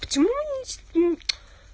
почему не